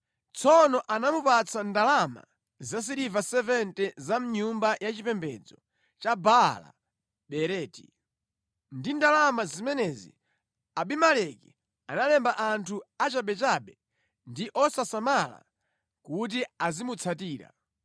Tsono anamupatsa ndalama zasiliva 70 za mʼnyumba ya chipembedzo ya Baala Beriti. Ndi ndalama zimenezi Abimeleki analemba anthu achabechabe ndi osasamala kuti azimutsatira.